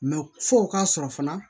fɔ o k'a sɔrɔ fana